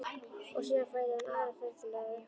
Og síðan færi hann aðra ferð til að rukka.